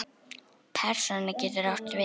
Persóna getur átt við